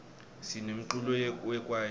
sinemculo we kwayito